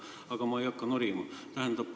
Aga ma ei hakka norima.